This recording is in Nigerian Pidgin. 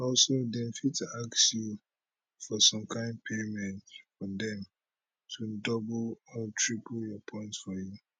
also dem fit ask you for some kain payment for dem to double or triple your points for you